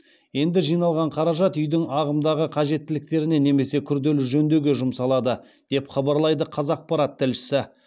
енді жиналған қаражат үйдің ағымдағы қажеттіліктеріне немесе күрделі жөндеуге жұмсалады деп хабарлайды қазақпарат тілшісі